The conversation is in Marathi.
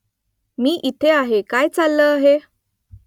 मी इथे आहे काय चाललं आहे ?